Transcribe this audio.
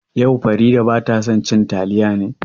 Yau Farida bata son cin taliya ne?